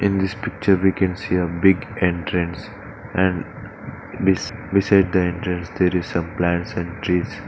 In this picture we can see a big entrance and beside the entrance there is some plants and trees.